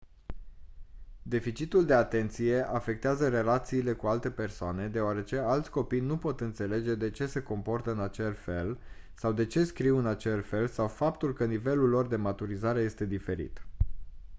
deficitul de atenție afectează relațiile cu alte persoane deoarece alți copii nu pot înțelege de ce se comportă în acel fel sau de ce scriu în acel fel sau faptul că nivelul lor de maturizare este diferit